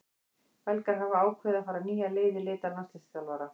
Belgar hafa ákveðið að fara nýja leið í leit að landsliðsþjálfara.